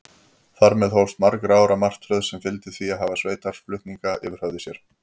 Þar með hófst margra ára martröð, sem fyldi því að hafa sveitarflutninga yfir höfði sér.